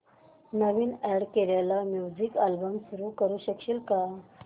नवीन add केलेला music album सुरू करू शकशील का